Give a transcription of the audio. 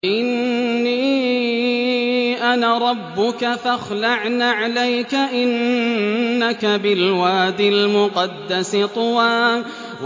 إِنِّي أَنَا رَبُّكَ فَاخْلَعْ نَعْلَيْكَ ۖ إِنَّكَ بِالْوَادِ الْمُقَدَّسِ طُوًى